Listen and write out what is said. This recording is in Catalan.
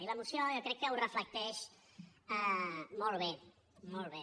i la moció jo crec que ho reflecteix molt bé molt bé